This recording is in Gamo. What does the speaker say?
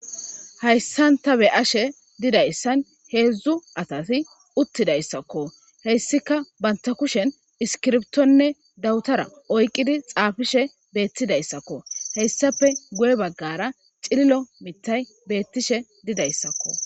Haysan ta be'ashe didaysan hedzu asati utidaysakko heysika banta kushen iskirbitonne dawutara oyqidi xafishe betidaysakko haysape guye bagara c'ililo matay betishe didaysako.